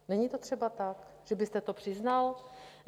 Není to třeba tak, že byste to přiznal?